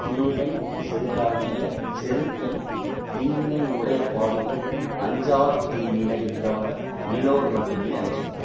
தீயவை செய்தலாகிய செருக்கைத் தீவினை உடைய பாவிகள் அஞ்சார் தீவினை இல்லாத மேலோர் மட்டுமே அஞ்சுவர்